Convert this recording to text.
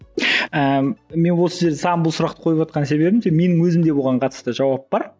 менің осы сөз саған бұл сұрақты қойыватқан себебім менің өзімде оған қатысты жауап бар